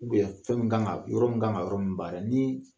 fɛn min kan ka yɔrɔ min kan ka yɔrɔ min baara ni